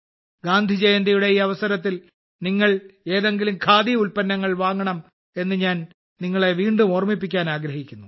ഗാന്ധിജയന്തിയുടെ ഈ അവസരത്തിൽ നിങ്ങൾ എതെങ്കിലും ഖാദി ഉൽപ്പന്നങ്ങൾ വാങ്ങണം എന്ന് ഞാൻ നിങ്ങളെ വീണ്ടും ഓർമ്മിപ്പിക്കാൻ ആഗ്രഹിക്കുന്നു